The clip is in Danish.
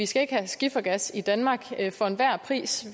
skal have skifergas i danmark for enhver pris